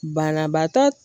Banabaatɔ